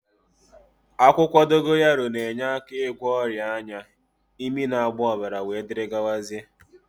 Akwukwo dogoyaro na-enyeaka igwo oria anya, imi na-agba obara wdgz